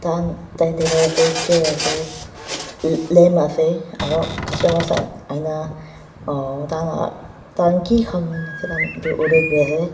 khan tai table fracture ase lamp ase aro ah tai tah ki khan kori ase.